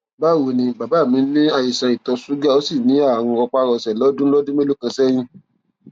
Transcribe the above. báwo ni bàbá mí ní àìsàn ìtọ ṣúgà ó sì ní àrùn rọpárọsẹ lọdún lọdún mélòó kan sẹyìn